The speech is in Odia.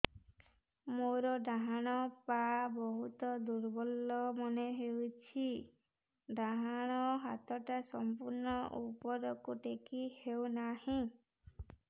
ମୋର ଡାହାଣ ପାଖ ବହୁତ ଦୁର୍ବଳ ମନେ ହେଉଛି ଡାହାଣ ହାତଟା ସମ୍ପୂର୍ଣ ଉପରକୁ ଟେକି ହେଉନାହିଁ